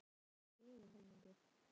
Þá var húsið tekið í yfirhalningu.